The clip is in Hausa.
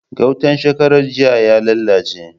Gautan shekarar jiya ya lalace.